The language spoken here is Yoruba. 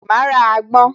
Máa ra àgbon